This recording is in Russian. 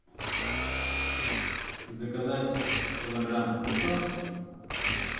заказать килограмм лука